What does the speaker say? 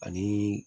Ani